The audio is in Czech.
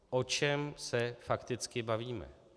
O čem se fakticky bavíme?